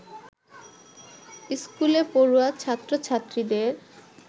স্কুলে পড়ুয়া ছাত্র-ছাত্রীদের